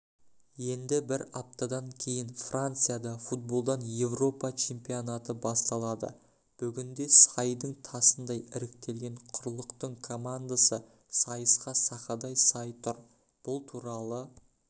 енді бір аптадан кейін францияда футболдан еуропа чемпионаты басталады бүгінде сайдың тасындай іріктелген құрлықтың командасы сайысқа сақадай сай тұр бұл туралы